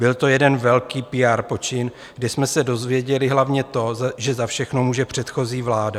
Byl to jeden velký PR počin, kdy jsme se dozvěděli hlavně to, že za všechno může předchozí vláda.